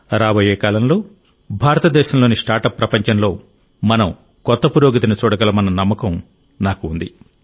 రాబోయే కాలంలో భారతదేశంలోని స్టార్టప్ ప్రపంచంలో మనం కొత్త పురోగతిని చూడగలమన్న నమ్మకం నాకు ఉంది